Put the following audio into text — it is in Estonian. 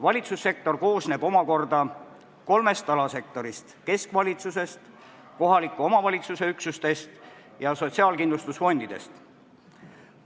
Valitsussektor koosneb omakorda kolmest alasektorist: keskvalitsusest, kohaliku omavalitsuse üksustest ja sotsiaalkindlustusfondidest.